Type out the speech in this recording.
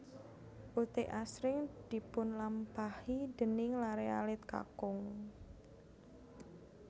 Uthik asring dipunlampahi déning laré alit kakung